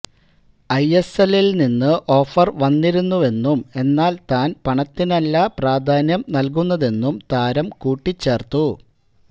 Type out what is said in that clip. I S എല്ലില് നിന്ന് offer വന്നിരുന്നുവെന്നും എന്നാല് താന് പണത്തിനല്ല പ്രാധാന്യം നല്കുന്നതെന്നും താരം കൂട്ടിച്ചേര്ത്തു